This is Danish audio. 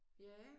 Ja